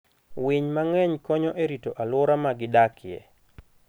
Winy mang'eny konyo e rito alwora ma gidakie.